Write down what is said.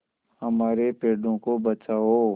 हमारे पेड़ों को बचाओ